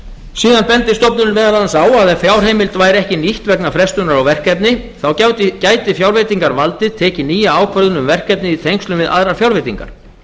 ársins bendir stofnunin meðal annars á að ef fjárheimild væri ekki nýtt vegna frestunar á verkefni þá gæti fjárveitingavaldið tekið nýja ákvörðun um verkefnið í tengslum við aðrar fjárveitingar